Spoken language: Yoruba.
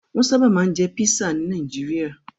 Wọ́n sábà máa ń jẹ pisa ní Nàìjíríà.